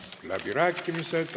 Läbirääkimised.